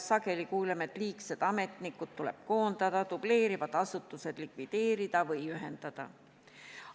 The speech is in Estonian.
Sageli kuuleme, et liigsed ametnikud tuleb koondada, dubleerivad asutused likvideerida või ühendada.